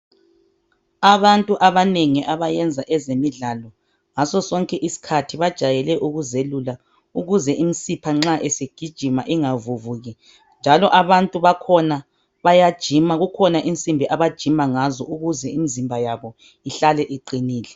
Abantu abanengi abayenza ezemidlalo, ngasosonke isikhathi, bajayele ukuzelula ukuze imisipha nxa isigijima ingavuvuki njalo abantu bakhona bayajima, kukhona insimbi abajima ngazo, ukuze imizimba yabo ihlale iqinile.